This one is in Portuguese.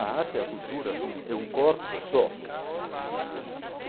A arte, a cultura, é só um é um corpo só.